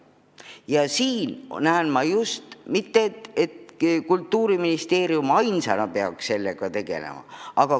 Ja siin näen ma seda, et mitte ainult Kultuuriministeerium ei peaks sellega tegelema.